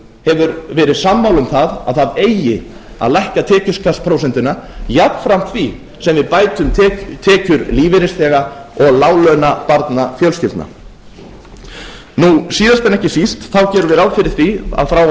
hefur verið sammála um að það eigi að lækka tekjuskattsprósentuna jafnframt því sem við bætum tekjur lífeyrisþega og láglaunabarnafjölskyldna síðast en ekki síst gerum við ráð fyrir því að frá og